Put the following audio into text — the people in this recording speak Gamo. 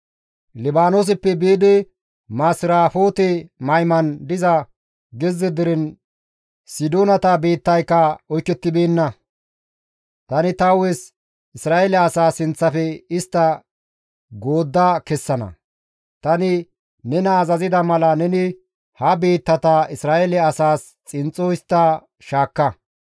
«Libaanooseppe biidi Masirafoote-Mayman diza gezze deren Sidoonata biittayka oykettibeenna. Tani ta hu7es Isra7eele asaa sinththafe istta goodda kessana. Tani nena azazida mala neni ha biittata Isra7eele asaas xinxxo histta shaakka.